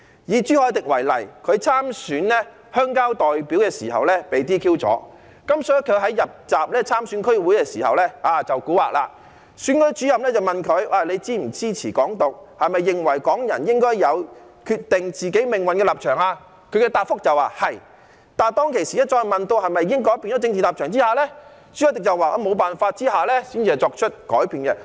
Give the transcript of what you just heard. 以朱凱廸為例，他參選鄉郊代表時被 "DQ"， 所以他在參選區議會時便出古惑，選舉主任問他是否支持"港獨"，是否認為港人應該有決定自己命運的立場時，他答覆說"是"，但當他被問及是否已經改變政治立場時，朱凱廸說在沒辦法下才作出改變。